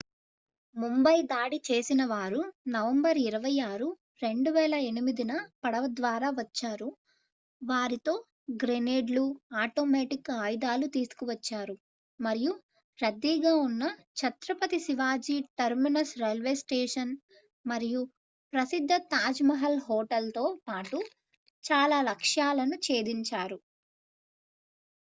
ముంబై దాడి చేసినవారు నవంబర్ 26 2008న పడవ ద్వారా వచ్చారు వారితో గ్రెనేడ్లు ఆటోమేటిక్ ఆయుధాలు తీసుకువచ్చారు మరియు రద్దీగా ఉన్న Chhatrapati Shivaji terminus railway station మరియు ప్రసిద్ధ తాజ్ మహల్ హోటల్తో పాటు చాల లక్ష్యాలను చేధించారు